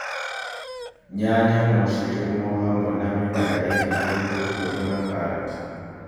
Nyanya no cirĩmwo hamwe na mĩmera ĩngi ta itungũrũ na karati